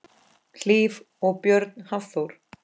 Hlíf og Björn Hafþór.